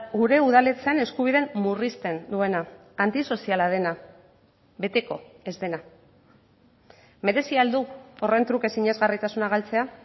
gure udaletxeen eskubideen murrizten duena antisoziala dena beteko ez dena merezi al du horren truke sinesgarritasuna galtzea